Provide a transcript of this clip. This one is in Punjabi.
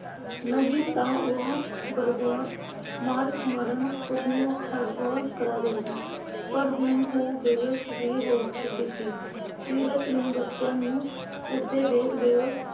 ਨਹੀਂ ਤਾਂ ਉਹ ਬਰਬਰ ਮਾਰ ਮਰਨ ਉਸਨੂੰ . ਕਰਾ ਦਿੰਦੀ ਪਰ ਹੁਣ ਉਹ ਬੇਵੱਸ ਵੀ ਹੋ ਚੁੱਕੀ ਸੀ। ਸੀਰਤ ਨੂੰ ਬੱਚਿਆਂ ਨੂੰ ਕੁੱਟਦੇ ਦੇਖ ਬੇਬੋ,